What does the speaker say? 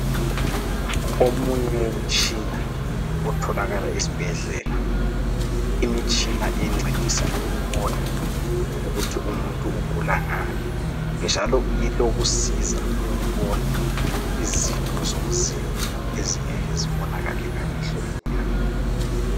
Omunye umtshina otholakala esibhedlela. Imitshina encedisa ukubona ukuthi umuntu ugula ngani, njalo ilokusiza ukubona izitho zomzimba ezingeke zibonakale ngamehlo enyama.